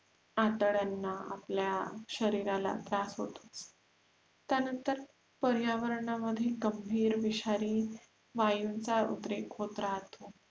आतड्यांना आपल्या शरीराला त्रास होतो त्यांनतर प्रयावरणामधिल गंभीर विषारी वायूचा उद्रेक होत राहतो आपण